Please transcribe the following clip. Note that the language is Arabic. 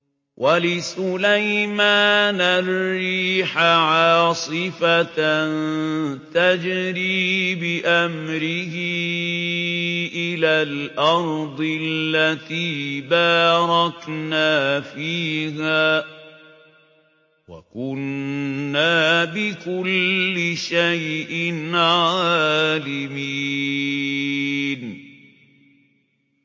وَلِسُلَيْمَانَ الرِّيحَ عَاصِفَةً تَجْرِي بِأَمْرِهِ إِلَى الْأَرْضِ الَّتِي بَارَكْنَا فِيهَا ۚ وَكُنَّا بِكُلِّ شَيْءٍ عَالِمِينَ